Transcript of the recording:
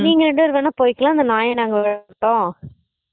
நீங்க ரெண்டு பேர் வேணா போய்க்கலாம் அந்த நாய் விட மாட்டோம்